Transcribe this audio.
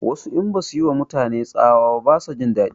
Wasu in basu yi ma mutane tsawa ba ba su jin daɗi